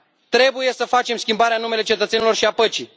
Trebuie să facem schimbarea în numele cetățenilor și al păcii.